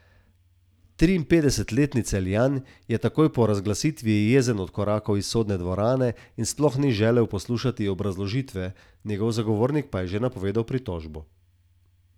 Triinpetdesetletni Celjan je takoj po razglasitvi jezen odkorakal iz sodne dvorane in sploh ni želel poslušati obrazložitve, njegov zagovornik pa je že napovedal pritožbo.